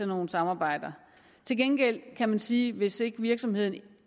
nogle samarbejder til gengæld kan man sige hvis ikke virksomheden